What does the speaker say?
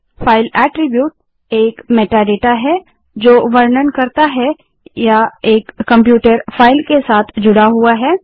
000025 000023 file attribute एक metadata metadata है जो वर्णन करता है या एक कंप्यूटर फाइल के साथ जुड़ा हुआ है